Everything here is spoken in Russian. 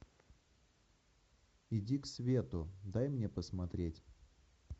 иди к свету дай мне посмотреть